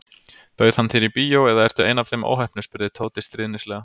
Bauð hann þér í bíó eða ertu ein af þeim óheppnu spurði Tóti stríðnislega.